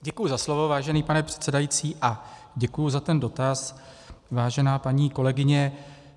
Děkuji za slovo, vážený pane předsedající a děkuji za ten dotaz, vážená paní kolegyně.